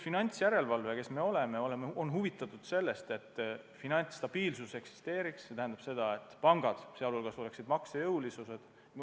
Finantsjärelevalve on huvitatud sellest, et finantsstabiilsus eksisteeriks, et pangad oleksid maksejõulised.